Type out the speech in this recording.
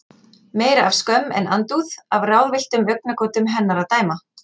Meira af skömm en andúð, af ráðvilltum augnagotum hennar að dæma.